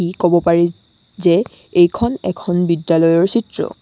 ই ক'ব পাৰি যে এইখন এখন বিদ্যালয়ৰ চিত্ৰ।